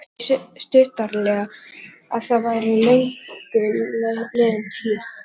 Hann svaraði því stuttaralega að það væri löngu liðin tíð.